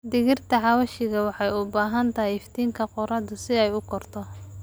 Dhirta xawaashka waxay u baahan tahay iftiinka qorraxda si ay u korto.